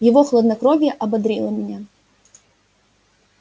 его хладнокровие ободрило меня